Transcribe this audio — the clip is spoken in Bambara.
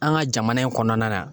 An ka jamana in kɔnɔna na